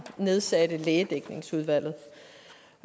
nedsatte lægedækningsudvalget